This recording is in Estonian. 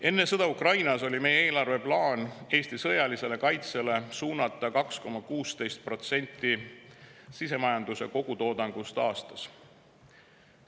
Enne sõda Ukrainas oli meie plaan suunata eelarves Eesti sõjalisele kaitsele 2,16% sisemajanduse kogutoodangust aastas.